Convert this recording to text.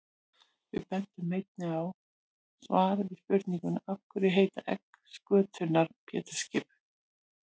Við bendum einnig á svar við spurningunni Af hverju heita egg skötunnar Pétursskip?